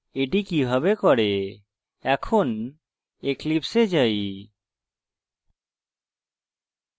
এখন eclipse এ যাই